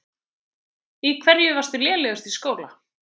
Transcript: Í hverju varstu lélegust í skóla?